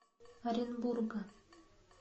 оренбурга